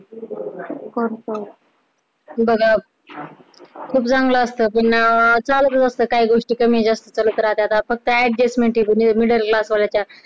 बघू खूप खूप रंगलं असतं पुन्हा चालूच असते काही गोष्टी कमी जास्त सुरूच राहतात फक्त adjustment हि करू फक्त middle class वाल्याच्या